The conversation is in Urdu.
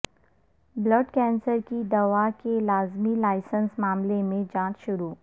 بلڈ کینسر کی دوا کے لازمی لائسنس معاملے میں جانچ شروع